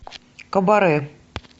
кабаре